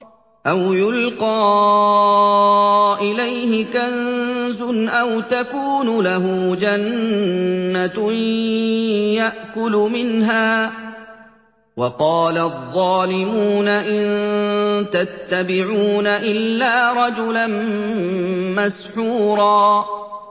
أَوْ يُلْقَىٰ إِلَيْهِ كَنزٌ أَوْ تَكُونُ لَهُ جَنَّةٌ يَأْكُلُ مِنْهَا ۚ وَقَالَ الظَّالِمُونَ إِن تَتَّبِعُونَ إِلَّا رَجُلًا مَّسْحُورًا